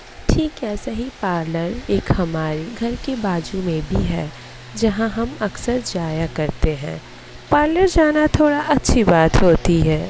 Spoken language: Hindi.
ठीक ऐसा ही पार्लर एक हमारे घर के बाजू में भी है जहां हम अक्सर जाया करते हैं। पार्लर जाना थोड़ा अच्छी बात होती है।